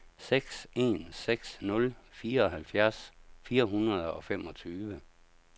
seks en seks nul fireoghalvfjerds fire hundrede og femogtyve